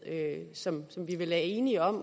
som vi vel er enige om